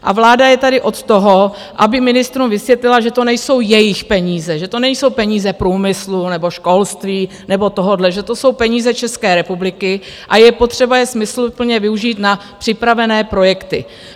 A vláda je tady od toho, aby ministrům vysvětlila, že to nejsou jejich peníze, že to nejdou peníze průmyslu nebo školství nebo tohohle, že to jsou peníze České republiky a je potřeba je smysluplně využít na připravené projekty.